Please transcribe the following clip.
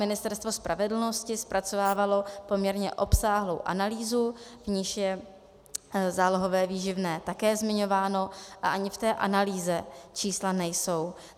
Ministerstvo spravedlnosti zpracovávalo poměrně obsáhlou analýzu, v níž je zálohové výživné také zmiňováno, a ani v té analýze čísla nejsou.